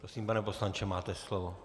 Prosím, pane poslanče, máte slovo.